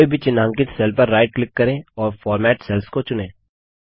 कोई भी चिन्हांकित सेल पर राइट क्लिक करें और फॉर्मेट सेल्स को चुनें